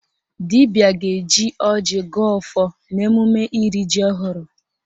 Dibịa ga-eji ọjị gọọ ọfọ n'emume iri ji ọhụrụ